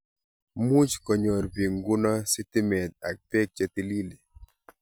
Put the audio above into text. Much konyopr bik nguno sitimet ak pek che tililen